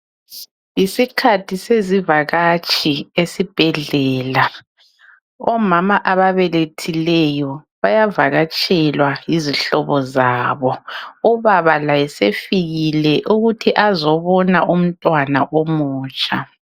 Yisikhathi sezivakatshi esibhedlela, omama ababelethileyo bayavakatshelwa yizihlobo zabo. Ubaba laye sefikile ukuthi azebona umntwana omutsha.